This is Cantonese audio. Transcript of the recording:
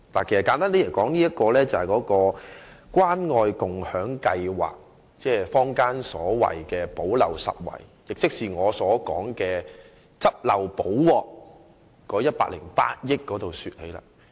簡單而言，所涉及的是關愛共享計劃，亦即坊間所說的"補漏拾遺"，我認為是用作"執漏補鑊"的108億元。